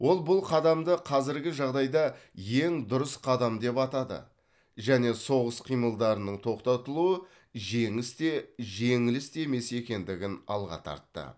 ол бұл қадамды қазіргі жағдайда ең дұрыс қадам деп атады және соғыс қимылдарының тоқтатылуы жеңіс те жеңіліс те емес екендігін алға тартты